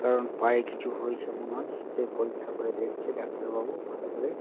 কারণ পায়ে কিছু হয়েছে মনে হয় সেটাই পরীক্ষা করে দেখছে ডাক্তারবাবু ভালো করে।